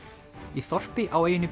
í þorpi á eyjunni